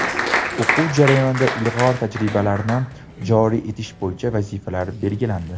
O‘quv jarayonida ilg‘or tajribalarni joriy etish bo‘yicha vazifalar belgilandi.